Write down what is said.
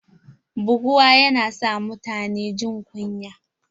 Buguwa yana sa mutune jin kunya.